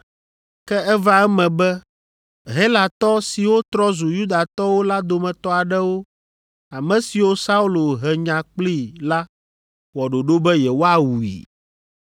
Ke eva eme be Helatɔ siwo trɔ zu Yudatɔwo la dometɔ aɖewo, ame siwo Saulo he nya kplii la wɔ ɖoɖo be yewoawui.